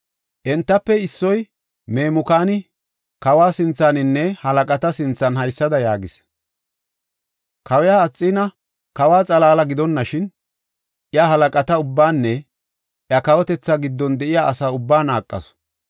Entafe issoy, Memukaani kawa sinthaninne halaqata sinthan haysada yaagis; “Kawiya Asxiina kawa xalaala gidonashin, iya halaqata ubbaanne iya kawotetha giddon de7iya asa ubbaa naaqasu.